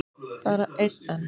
Bara einn enn?